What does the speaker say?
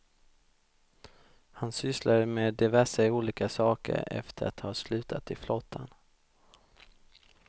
Han sysslade med diverse olika saker efter att ha slutat i flottan.